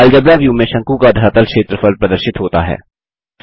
algebra view में शंकु का धरातल क्षेत्रफल प्रदर्शित होता है